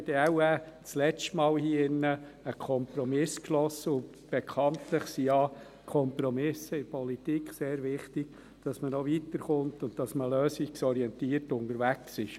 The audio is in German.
Sonst haben wir wohl zum letzten Mal hier im Rat einen Kompromiss geschlossen, und bekanntlich sind Kompromisse in der Politik ja sehr wichtig, damit man auch weiterkommt und man lösungsorientiert unterwegs ist.